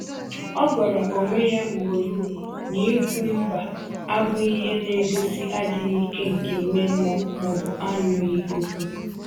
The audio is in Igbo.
Ọ gwara onwe ya ugboro ugboro na ikwu “mba” abụghị ihe na-egosi adịghị ike nke ime mmụọ ma ọ bụ anụghị okwu.